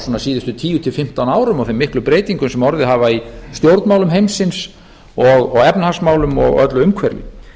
svona síðustu tíu til fimmtán árum og þeim miklu breytingum sem orðið hafa í stjórnmálum heimsins og efnahagsmálum og öllu umhverfi